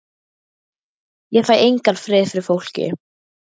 Ég fæ engan frið fyrir fólki.